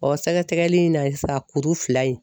Ɔ sɛgɛsɛgɛli in na ye sa kuru fila in